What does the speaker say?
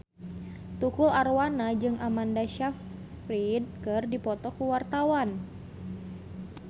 Tukul Arwana jeung Amanda Sayfried keur dipoto ku wartawan